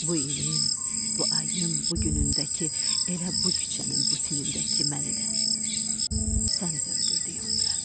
Bu ilin, bu ayın, bu günündəki elə bu küçənin bu tinindəki məni də, səni də öldürdük onda.